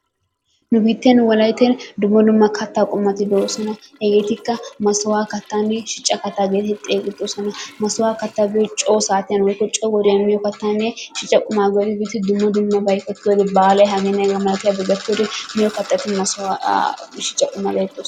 Nu biitten wolaytten dumma dumma kattaa qommottu de'oosona. Hegeetikka Masukkuwa kattaanne shicca katta geetettidi xeegettoosona. Masukkuwa kattay coo saattiyaninne coo wodiyan miyo kattaanne shicca qumaa baale hegenne hegaa mala miyo kattati maasukuwaa aa shicca katata geetetoosonna.